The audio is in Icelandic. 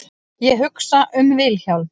Ég hugsa um Vilhjálm.